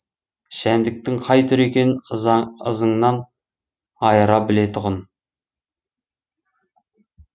жәндіктің қай түрі екенін ызыңынан айыра білетұғын